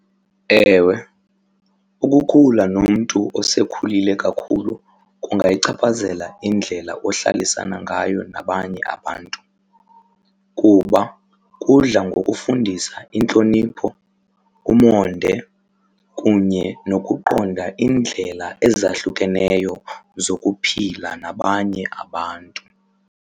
Ewe, ukukhula nomntu osekhulile kakhulu kungayichaphazela indlela ohlalisana ngayo nabanye abantu kuba udla ngokufundisa intlonipho, umonde kunye nokuqonda indlela ezahlukeneyo zokuphila nabanye abantu.